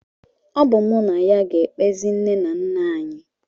Ọ bụ mụ na ya ga-ekpezi nne na nna anyị